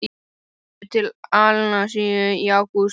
Ég fer til Andalúsíu í ágúst.